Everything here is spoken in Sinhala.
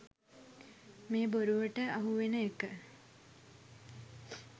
මේ බොරුවට අහුවෙන එක.